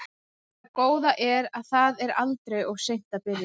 En það góða er að það er aldrei of seint að byrja.